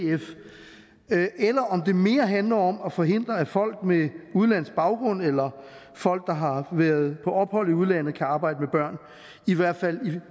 eller om det mere handler om at forhindre at folk med udenlandsk baggrund eller folk der har været på ophold i udlandet kan arbejde med børn i hvert fald i